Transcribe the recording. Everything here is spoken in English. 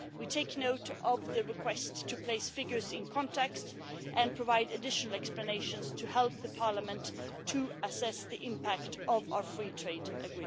We take note of the requests to place figures in context and provide additional explanations to help Parliament to assess the impact of our FTAs.